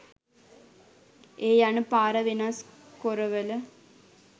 ඒ යන පාර වෙනස් කොරවල